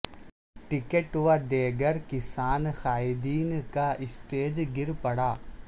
ticket و دیگر کسان قائدین کا اسٹیج گر پڑا